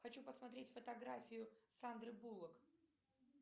хочу посмотреть фотографию сандры буллок